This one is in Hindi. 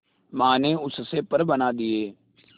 मां ने उससे पर बना दिए